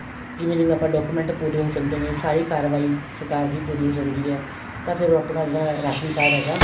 ਜਿਵੇਂ ਜਿਵੇਂ ਆਪਾਂ document ਪੂਰੇ ਹੋ ਜਾਂਦੇ ਨੇ ਸਾਰੀ ਕਾਰਵਾਈ ਸਰਕਾਰ ਦੀ ਪੂਰੀ ਹੋ ਜਾਂਦੀ ਏ ਤਾਂ ਫੇਰ ਉਹ ਆਪਣਾ ਜਿਹੜਾ ਰਾਸ਼ਣ card ਹੈਗਾ